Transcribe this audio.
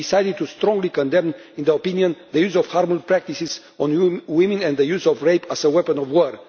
And we decided to strongly condemn, in the opinion, the use of harmful practices on women and the use of rape as a weapon of war.